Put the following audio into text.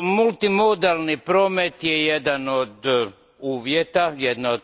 Multimodalni promet jedan je od uvjeta,